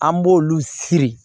An b'olu siri